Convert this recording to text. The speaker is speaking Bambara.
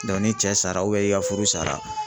ni cɛ sara i ka furu sara.